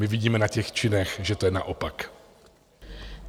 My vidíme na těch činech, že to je naopak.